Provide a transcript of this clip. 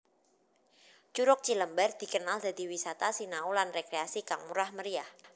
Curug Cilember dikenal dadi wisata sinau lan rekreasi kang murah meriah